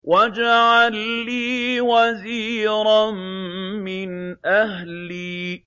وَاجْعَل لِّي وَزِيرًا مِّنْ أَهْلِي